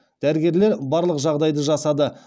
дәрігерлер барлық жағдайды жасады